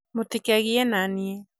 mũtikegie naniĩ